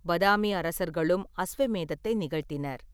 பாதாமி அரசர்களும் அஸ்வமேதத்தை நிகழ்த்தினர்.